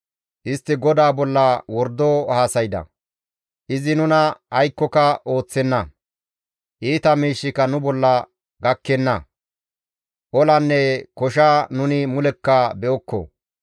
Istti GODAA bolla wordo haasayda; «Izi nuna aykkoka ooththenna; iita miishshika nu bolla gakkenna; olanne kosha nuni mulekka be7okko.